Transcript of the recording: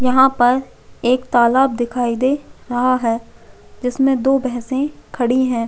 यहाँ पर एक तालाब दिखाई दे रहा है जिसमे दो भैंसे खड़ी है।